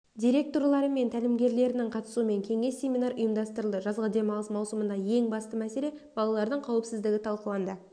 директорлары мен тәлімгерлерінің қатысуымен кеңес семинар ұйымдастырылды жазғы демалыс маусымындағы ең басты мәселе балалардың қауіпсіздігі талқыланды